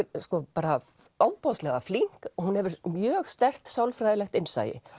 bara ofboðslega flink hún hefur mjög sterkt sálfræðilegt innsæi